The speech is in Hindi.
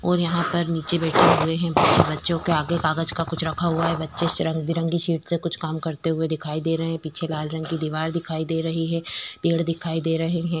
और यहाँ पर निचे बैठे हुए हैं बच्चे बच्चों के आगे कागच का कुछ रखा हुआ है बच्चे से रंग-बिरंगी शीट से कुछ काम करते हुए दिखाई दे रहे हैं पीछे लाल रंग की दिवार दिखाई दे रही है पेड़ दिखाई दे रहे हैं।